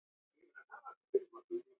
Eins gott.